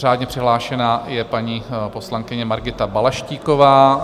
Řádně přihlášená je paní poslankyně Margita Balaštíková.